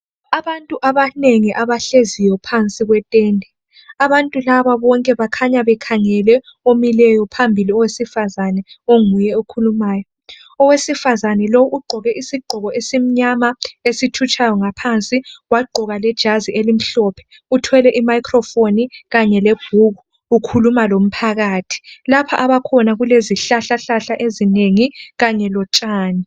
Abantu abanengi abahleziyo phansi kwetende abantu laba bonke kukhanya bekhangele omileyo phambili owesifazana onguye okhulumayo. Owesifazana lowu ugqoke isigqoko esimnyama esithutshayo ngaphansi wagqoka lejazi elimhlophe. Uthwele i microphe kanye lebhuku ukhuluma lomphakathi, lapha abakhona kulezi hlahla hlahla ezinengi kanye lotshani.